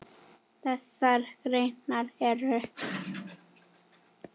Þessar greinar eru